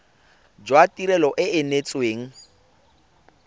jwa tirelo e e neetsweng